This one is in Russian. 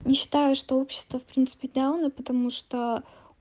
не считаю что общество в принципе дауна потому что аа